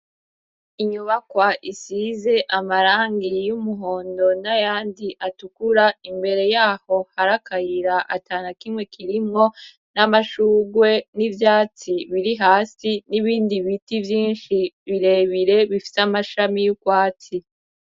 Inyubakwa isize amarangi y'umuhondo nayandi atukura, imbere yaho hari akayira atanakimwe kirimwo, n'amashugwe n'ivyatsi biri hasi n'ibindi biti vyinshi birebire bifise amashami y'urwatsi.